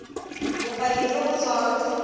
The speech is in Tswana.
bopaki jo bo tswang go